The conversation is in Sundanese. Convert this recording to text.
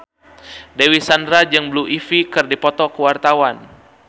Dewi Sandra jeung Blue Ivy keur dipoto ku wartawan